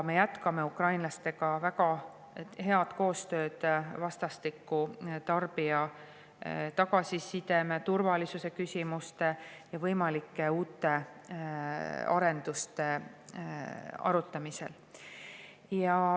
Me jätkame ukrainlastega väga head vastastikust koostööd tarbija tagasiside, turvalisuse küsimuste ja võimalike uute arenduste arutamisel.